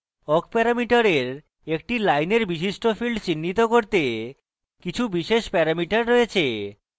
awk প্যারামিটারের একটি লাইনের বিশিষ্ট fields চিহ্নিত করতে কিছু বিশেষ প্যারামিটার রয়েছে